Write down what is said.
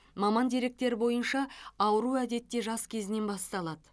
маман деректері бойынша ауру әдетте жас кезінен басталады